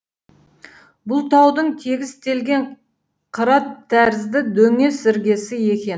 бұл таудың тегістелген қырат тәрізді дөңес іргесі екен